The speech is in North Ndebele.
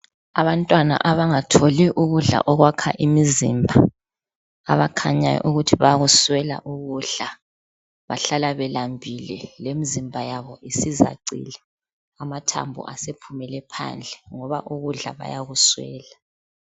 Abantwana abangatholi ukudla okwakha umizimba abakhanyayo ukuthi bayakuswela ukudla bahlala belambile lemizimba yabo isizacile lamathambo sephumele phandle ngoba ukudla bayakuswela.